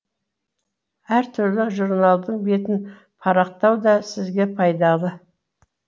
әр түрлі журналдың бетін парақтау да сізге пайдалы